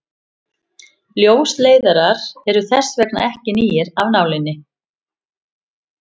ljósleiðarar eru þess vegna ekki nýir af nálinni